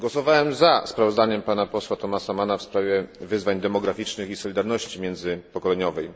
Głosowałem za sprawozdaniem pana posła Thomasa Manna w sprawie wyzwań demograficznych i solidarności międzypokoleniowej.